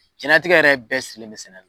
Jɛnnatigɛ yɛrɛ bɛɛ sirilen sɛnɛ la.